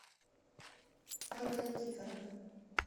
ольга никифорова